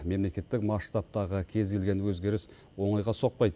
мемлекеттік масштабтағы кез келген өзгеріс оңайға соқпайды